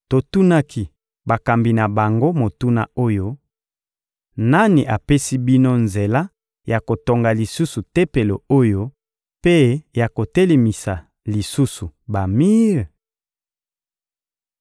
Totunaki bakambi na bango motuna oyo: ‹Nani apesi bino nzela ya kotonga lisusu Tempelo oyo mpe ya kotelemisa lisusu bamir?›